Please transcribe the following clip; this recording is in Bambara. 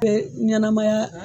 Ee ɲanamaya